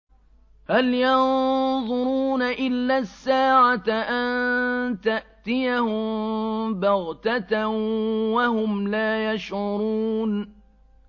هَلْ يَنظُرُونَ إِلَّا السَّاعَةَ أَن تَأْتِيَهُم بَغْتَةً وَهُمْ لَا يَشْعُرُونَ